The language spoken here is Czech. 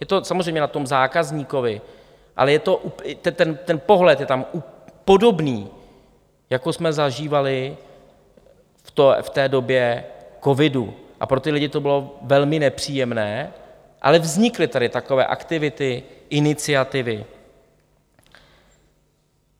Je to samozřejmě na tom zákazníkovi, ale ten pohled je tam podobný, jako jsme zažívali v té době covidu, a pro ty lidi to bylo velmi nepříjemné, ale vznikly tady takové aktivity, iniciativy.